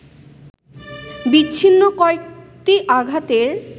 বিচ্ছিন্ন কয়েকটি আঘাতের